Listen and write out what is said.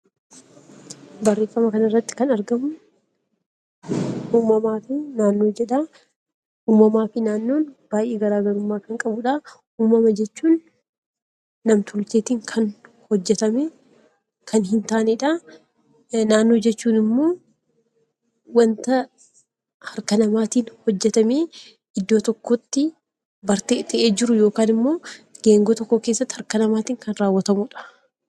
Uumamaa fi naannoon baay'ee hariiroo kan qabudha. Uumama jechuun nam-tolcheetiin kan hin hojjatamnenaannoo jechuun immoo wanta harka namaatiin hojjatamee iddoo tokkotti bartee ta'ee jiru yookaan immoo geengoo tokko keessatti harka namaatiin kan raawwatamudha.